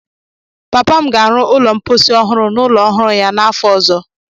Papa m ga-arụ ụlọ mposi ọhụrụ n'ụlọ ọhụrụ ya n'afọ ọzọ.